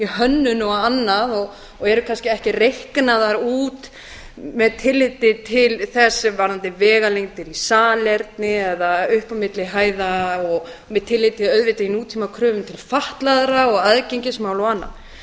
hönnun og annað og eru kannski ekki reiknaðar út með tilliti til þess varðandi vegalengdir í salerni eða upp á milli hæða og með tilliti auðvitað í nútímakröfur til fatlaðra og aðgengismál og